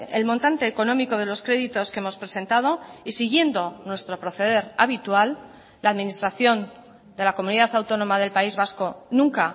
el montante económico de los créditos que hemos presentado y siguiendo nuestro proceder habitual la administración de la comunidad autónoma del país vasco nunca